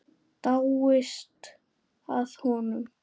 Dáist að honum.